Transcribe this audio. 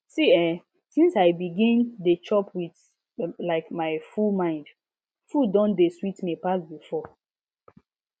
see eh since i begin dey chop with um full mind food don dey sweet me pass before